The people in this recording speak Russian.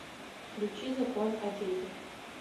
включи закон о детях